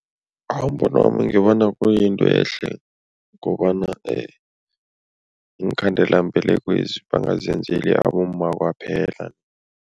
Umbono wami ngibona kuyinto ehle kobana iinkhandelambelekwezi bangazenzeli abomma kwaphela.